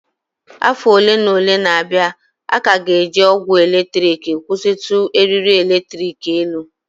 Afọ ole na ole na-abịa, a ka ga-eji ogwe eletrik kwụsịtụ eriri eletrik n'elu